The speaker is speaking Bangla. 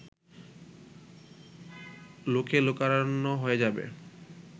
লোকে লোকারণ্য হয়ে যাবে